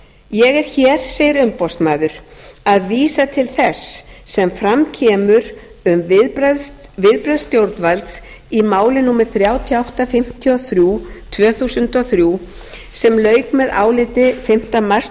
ég er hér segir umboðsmaður að vísa til þess sem fram kemur um viðbrögð stjórnvalds í máli númer þrjú þúsund átta hundruð fimmtíu og þrjú tvö þúsund og þrjú sem lauk með áliti fimmta mars